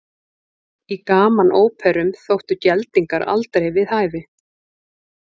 Í gamanóperum þóttu geldingar aldrei við hæfi.